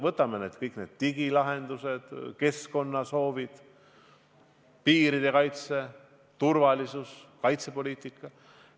Võtame kõik need digilahendused, keskkonnasoovid, piiride kaitse, turvalisuse, kaitsepoliitika.